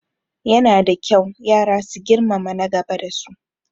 Yana da kyau yara su girmama na gaba da su